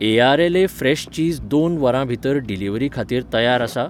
Arla fresh cheese दोन वरां भितर डिलिव्हरी खातीर तयार आसा?